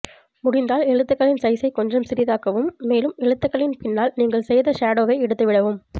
முடிந்தால் எழுதுக்களின் சைஸை கொஞ்சம் சிறிதாக்கவும் மேலும் எழுத்துக்களின் பின்னால் நீங்கள் செய்த ஷேடோவை எடுத்துவிடவும்